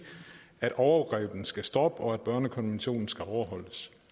at overgrebene skal stoppe og at børnekonventionen skal overholdes